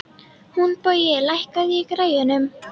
Húnbogi, lækkaðu í græjunum.